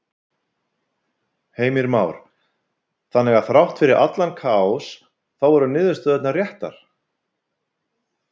Heimir Már: Þannig að þrátt fyrir allan kaos þá voru niðurstöðurnar réttar?